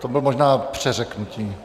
To bylo možná přeřeknutí.